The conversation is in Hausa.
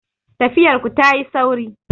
Tafiyar ku ta yi sauri